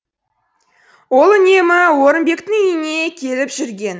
ол үнемі орымбектің үйіне келіп жүрген